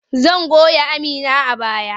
Zan goya Amina a baya.